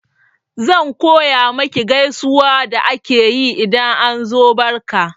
Zan koya maki gaisuwa da ake yi idan an zo barka